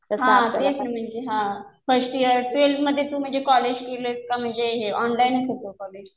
हा तेच म्हणजे हा. फर्स्ट ईयर, ट्वेल्थ मध्ये तू म्हणजे कॉलेज केलं का म्हणजे हे ऑनलाइनच होते कॉलेज?